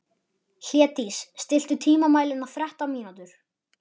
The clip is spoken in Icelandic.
Hlédís, stilltu tímamælinn á þrettán mínútur.